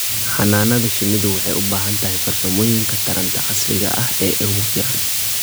Xannaanada shinnidu waxay u baahan tahay farsamooyinka taranta casriga ah ee ugu fiican.